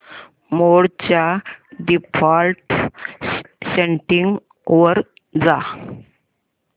मोड च्या default settings वर जा